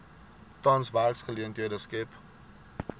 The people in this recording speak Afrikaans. tans werksgeleenthede skep